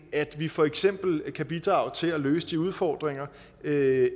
at vi for eksempel kan bidrage til at løse de udfordringer der